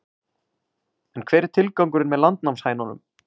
En hver er tilgangurinn með landnámshænunum?